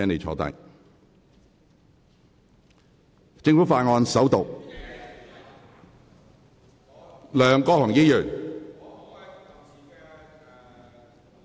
政府法案：首讀。